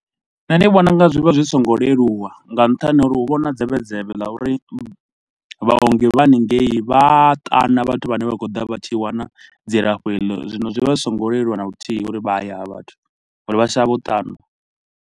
Nṋe ndi vhona unga zwi vha zwi songo leluwa nga nṱhani ha uri hu vha na dzevhe dzevhe ḽa uri vhaongi vha haningei vha a ṱana vhathu vhane vha khou ḓa vha tshi wana dzilafho heḽo, zwino zwi vha zwi songo leluwa na luthihi uri vha ye ha vha vhathu ngori vha shavha u ṱanwa.